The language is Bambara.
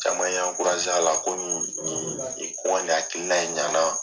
Caman y'an a la . Ko nin, nin ko n ka nin hakilila in ɲana